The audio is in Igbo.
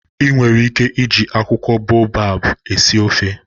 I nwere ike iji akwukwo baobab esi ofe.